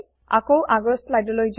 আকৌ আগৰ slideলৈ যাওক